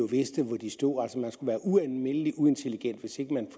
vidste jo hvor de stod altså man skulle være ualmindelig uintelligent hvis man